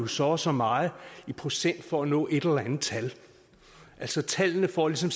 så og så meget i procent for at nå et eller andet tal altså tallene får ligesom